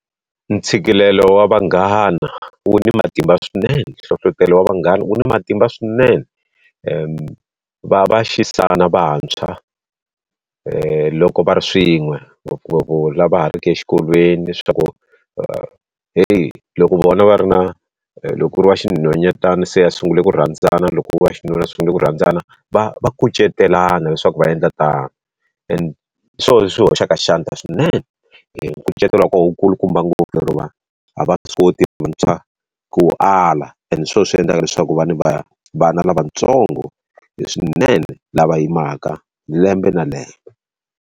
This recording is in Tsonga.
Ntshikelelo wa vanghana wu ni matimba swinene, hlohletelo vanghana wu ni matimba swinene. va va xisana vantshwa loko va ri swin'we ngopfungopfu lava ha ri ki exikolweni leswaku heyi loko vona va ri na loko ku ri wa xinhwanyetana se ya sungule ku rhandzana loko va xinuna va sungule ku rhandzana va va kucetelana leswaku va endla tano. hi swona leswi hoxaka xandla swinene nkucetelo wa kona wu kulukumba ngopfu lero vanhu a va swi koti vantshwa ku wu ala and hi swona swi endlaka leswaku va ni vana lavatsongo swinene lava yimaka lembe na leyo.